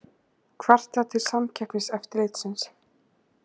Kvarta til Samkeppniseftirlitsins